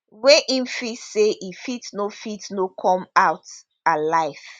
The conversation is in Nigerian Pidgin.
wey im feel say e fit no fit no come out alive